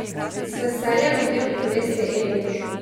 Z veseljem o tem obvesti Eli.